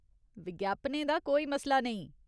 विज्ञापनें दा कोई मसला नेईं।